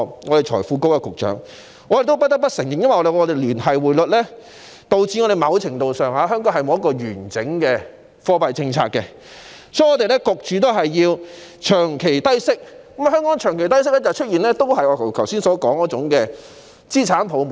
我不得不承認，由於香港實行聯繫匯率，因此在某程度上，香港沒有完整的貨幣政策，以致香港長期被迫處於低息狀態，如是者便會出現我剛才所說的資產泡沫。